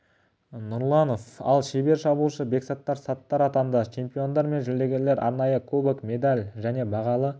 нұрланов ал шебер шабуылшы бексаттар саттар атанды чемпиондар мен жүлдегерлер арнайы кубок медаль және бағалы